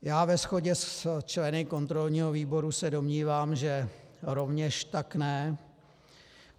Já ve shodě s členy kontrolního výboru se domnívám, že rovněž tak ne.